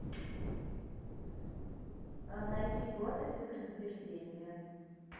найти гордость и предубеждение